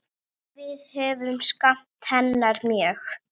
Við höfum saknað hennar mjög.